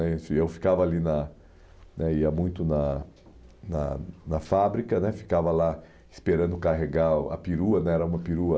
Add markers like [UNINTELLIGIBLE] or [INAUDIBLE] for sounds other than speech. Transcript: [UNINTELLIGIBLE] Eu ficava ali na; ia muito na na na fábrica, ficava lá esperando carregar a perua, era uma perua...